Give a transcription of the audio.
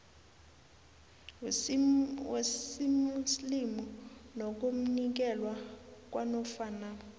wesimuslimu nokunikelwa kwanofana